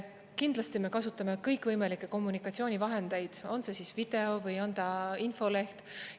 Kindlasti me kasutame kõikvõimalikke kommunikatsioonivahendeid, on see video või on ta infoleht.